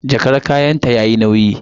Jakar kayanta yayi nauyi.